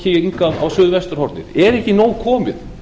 eiga á suðvesturhornið er ekki nóg komið